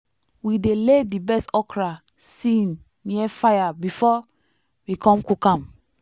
we dey lay di best okra see near fire before we com cook am.